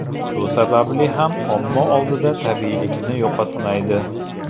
Shu sababli ham omma oldida tabiiylikni yo‘qotmaydi.